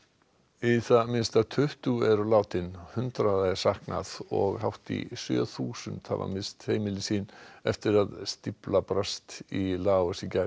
í það minnsta tuttugu eru látin hundraða er saknað og hátt í sjö þúsund hafa misst heimili sín eftir að stífla brast í Laos í gær